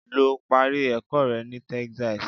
Lọ parí ẹ̀kọ́ rẹ ní Texas.